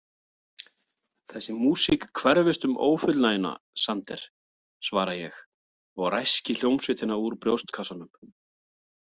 Þessi músík hverfist um ófullnægjuna, Sander, svara ég og ræski hljómsveitina úr brjóstkassanum.